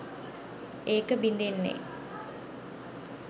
ඒක බිඳෙන්නෙ.